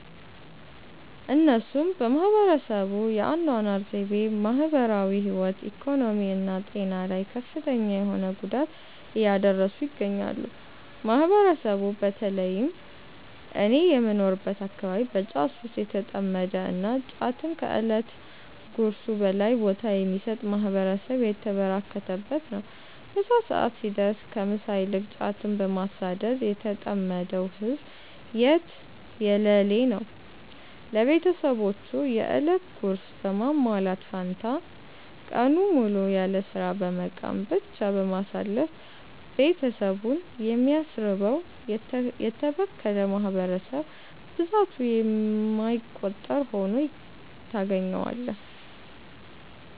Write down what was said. እነሱም በህብረተሰቡ የ አናኗር ዘይቤ፣ ማህበራዊ ህይወት፣ ኢኮኖሚ እና ጤና ላይ ከፍተኛ የሆነ ጉዳት እያደረሱ ይገኛሉ። ማህበረሰቡ በ ተለይም እኔ በምኖርበት አከባቢ በ ጫት ሱስ የተጠመደ እና ጫትን ከ እለት ጉርሱ በላይ ቦታ የሚሰጥ ማህበረሰብ የተበራከተበት ነው። ምሳ ሰዐት ሲደርስ ከ ምሳ ይልቅ ጫትን በማሳደድ የተጠመደው ህዝብ የትየለሌ ነው። ለቤትሰቦቹ የ እለት ጉርስ በማሟላት ፈንታ ቀኑን ሙሉ ያለስራ በመቃም ብቻ በማሳለፍ ቤትሰቡን የሚያስርበው: የተበከለ ማህበረሰብ ብዛቱ የማይቆጠር ሁኖ ታገኛዋለህ።